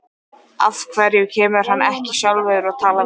Af hverju kemur hann ekki sjálfur og talar við mig?